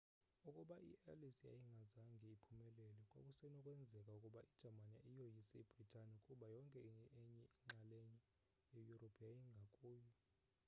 ukuba iallies yayingazange iphumelele kwakusenokwenzeka ukuba ijamani iyoyise ibrithani kuba yonke enye inxalenye yeyurophu yayingakuyo